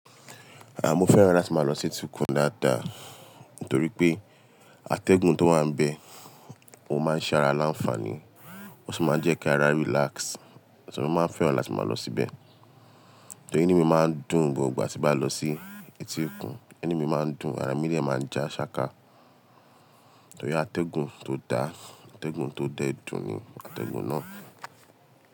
À, mo fẹ́ràn láti máa lọ sí etí okun dáadáa. Nítorí pé atẹ́gùn tó wà bẹ, ó máa ń ṣe ara láńfààní, ó sì máa ń jẹ́ kí ara relax. So, mo máa ń fẹ́ràn láti máa lọ síbẹ̀ Torí inu mi máa ń dùn gbogbo ìgbà tí bá lọ sí etíkun. Ẹnu mi máa ń dùn, ara mi ni dẹ máa ń ja ṣáka. Torí atẹ́gùn tó da, atẹ́gùn tó dẹ dùn ni atẹ́gùn náà.